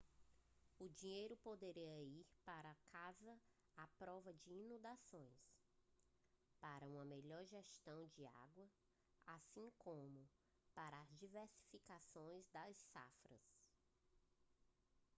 o dinheiro poderia ir para as casas à prova de inundações para uma melhor gestão da água assim como para a diversificação das safras